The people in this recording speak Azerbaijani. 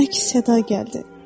Əks-səda gəldi.